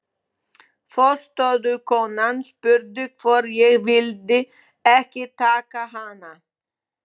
Forstöðukonan spurði hvort ég vildi ekki taka hana.